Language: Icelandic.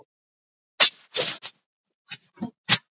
Hvers vegna hafði hann borið hlífiskjöld fyrir Valdimar?